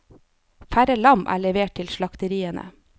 Færre lam er levert til slakteriene.